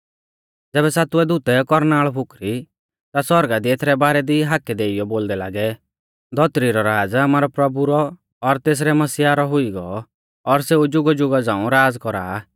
ज़ैबै सातुऐ दूतै कौरनाल़ फुकरी ता सौरगा दी एथरै बारै दी हाकै देइयौ बोलदै लागै धौतरी रौ राज़ आमारै प्रभु रौ और तेसरै मसीहा रौ हुई गौ और सेऊ जुगाजुगा झ़ांऊ राज़ कौरा आ